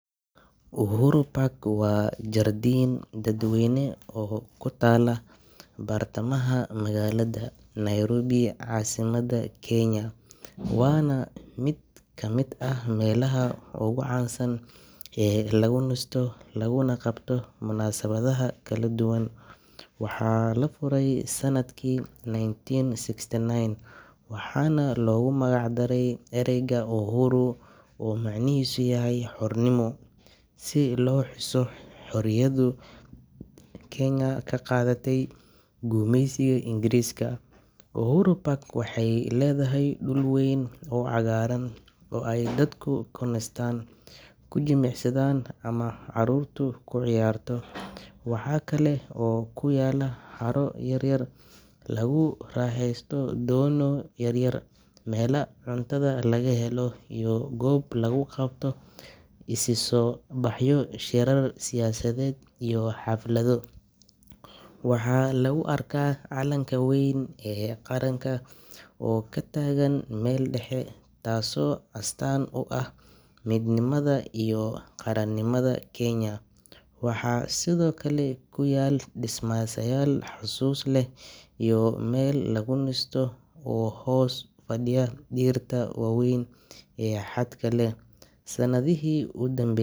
Uhuru Park waa jardiin dadweyne oo ku taalla bartamaha magaalada Nairobi, caasimadda Kenya, waana mid ka mid ah meelaha ugu caansan ee lagu nasto laguna qabto munaasabadaha kala duwan. Waxaa la furay sanadkii nineteen sixty-nine waxaana loogu magac daray ereyga “Uhuru” oo macnihiisu yahay xornimo, si loo xuso xorriyaddii Kenya ka qaadatay gumeysigii Ingiriiska. Uhuru Park waxay leedahay dhul weyn oo cagaaran oo ay dadku ku nastaan, ku jimicsadaan, ama carruurtu ku ciyaarto. Waxa kale oo ku yaalla haro yar oo lagu raaxaysto doonyo yaryar, meelaha cuntada laga helo, iyo goob lagu qabto isu soo baxyo, shirar siyaasadeed iyo xaflado. Waxaa lagu arkaa calanka weyn ee qaranka oo ka taagan meel dhexe, taasoo astaan u ah midnimada iyo qaranimada Kenya. Waxaa sidoo kale ku yaal dhismayaal xusuus leh iyo meel lagu nasto oo hoos u fadhiya dhirta waaweyn ee hadhka leh. Sannadihii u damb.